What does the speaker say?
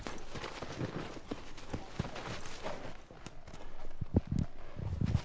Sandra Dögg Björgvinsdóttir Aldur?